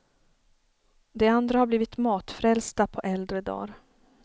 De andra har blivit matfrälsta på äldre dar.